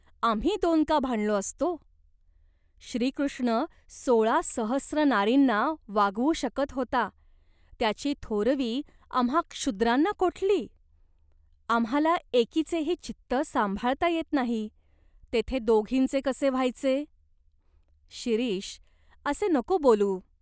आम्ही दोन का भांडलो असतो ?" "श्रीकृष्ण सोळा सहस्र नारींना वागवू शकत होता, त्याची थोरवी आम्हा क्षुद्रांना कोठली ? आम्हाला एकीचेही चित्त सांभाळता येत नाही, तेथे दोघींचे कसे व्हायचे ?" "शिरीष, असे नको बोलू.